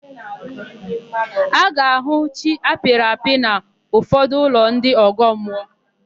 A ga-ahụ chi apịrị apị n'ụfọdụ ụlọ ndị ọgọmmụọ.